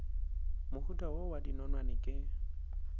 mohuta wo wa dinonwane ke